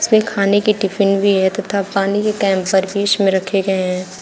इसमें खाने की टिफिन भी है तथा पानी के कैम्पर बीच मे रखे गए हैं।